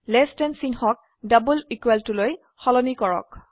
less than চিহ্নক double equal টুলৈ সলনি কৰক